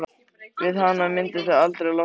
Við hana myndu þau aldrei losna.